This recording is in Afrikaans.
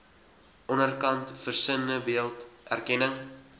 onderkant versinnebeeld erkenning